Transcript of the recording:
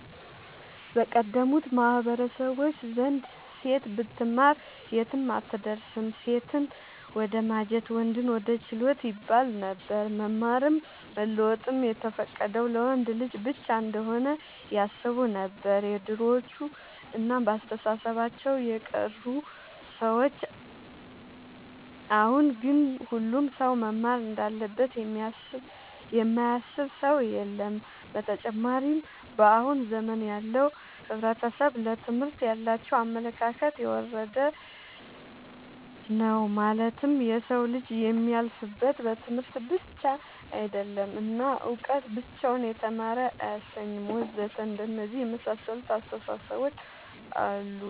በቀደሙት ማህበረሰቦች ዘንድ ሴት ብትማር የትም አትደርስም ሴትን ወደማጀት ወንድን ወደ ችሎት ይባለነበር። መማርም መለወጥም የተፈቀደው ለወንድ ልጅ ብቻ እንሆነ ያስቡነበር የድሮዎቹ እና በአስተሳሰባቸው የቀሩ ሰዎች አሁን ግን ሁሉም ሰው መማር እንዳለበት የማያስብ ሰው የለም። ብተጨማርም በአሁን ዘመን ያለው ሕብረተሰብ ለትምህርት ያላቸው አመለካከት የወረደ ነው ማለትም የሰው ልጅ የሚያልፍለት በትምህርት ብቻ አይደለም እና እውቀት ብቻውን የተማረ አያሰኝም ወዘተ አንደነዚህ የመሳሰሉት አስታሳሰቦች አሉ